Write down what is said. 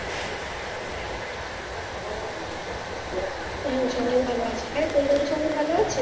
হ্যাঁ সবাই ভালো আছে তোর বাড়িতে সবাই ভালো আছো